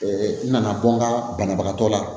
n nana bɔ n ka banabagatɔ la